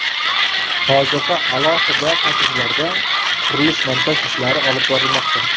Hozirda alohida kottejlarda qurilish-montaj ishlari olib borilmoqda.